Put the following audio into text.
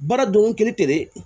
Baara dɔnko kiri tɛre